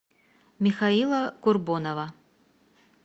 михаила курбонова